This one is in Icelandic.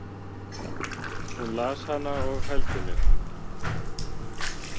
Hún las hana og hældi mér.